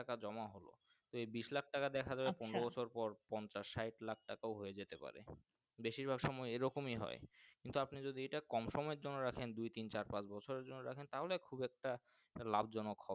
টাকা জমা হলো এই বিস্ লাখ টাকা দেখা যাবে পনেরো বছর পর পঞ্চাশ স্যাট লাখ কাটেও হয়ে যেতেও পারে বেশির ভাগ সময় এইরকমই হয় কিন্তু আপনি যদি কম সমৃ এর জন্য রাখেন দুই, তিন, চার, পাঁচ, বছরের জন্য রাখেন তাহলে খুব একটা লাভজনক হবে।